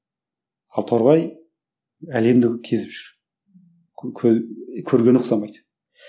ал торғай әлемді кезіп жүр көргені ұқсамайды